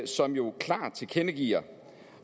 som jo klart tilkendegiver